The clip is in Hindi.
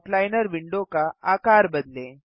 आउटलाइनर विंडो का आकर बदलें